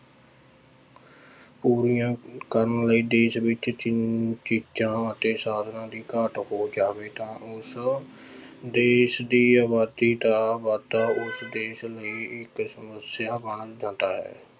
ਪੂਰੀਆਂ ਕਰਨ ਲਈ ਦੇੇਸ ਵਿੱਚ ਚ~ ਚੀਜ਼ਾਂ ਅਤੇ ਸਾਧਨਾਂ ਦੀ ਘਾਟ ਹੋ ਜਾਵੇ ਤਾਂ ਉਸ ਦੇਸ ਦੀ ਆਬਾਦੀ ਦਾ ਵਾਧਾ ਉਸ ਦੇਸ ਲਈ ਇੱਕ ਸਮੱਸਿਆ ਬਣ ਜਾਂਦਾ ਹੈ।